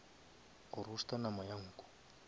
go roaster nama ya nku